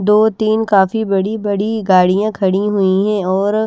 दो तीन काफी बड़ी बड़ी गाड़ियां खड़ी हुई है और--